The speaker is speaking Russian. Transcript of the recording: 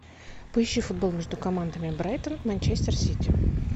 поищи футбол между командами брайтон манчестер сити